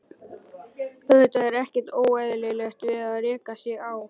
Auðvitað er ekkert óeðlilegt við það að reka sig á.